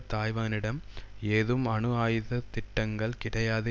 தாய்வானிடம் ஏதும் அணு ஆயுத திட்டங்கள் கிடையாது